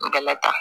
N gala